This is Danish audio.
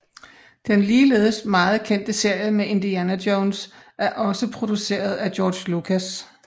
Den ligeledes meget kendte serie med Indiana Jones er også produceret af George Lucas